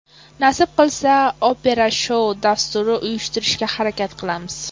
Nasib qilsa, opera-shou dasturi uyushtirishga harakat qilamiz.